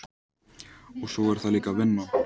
Og svo er það líka vinnan.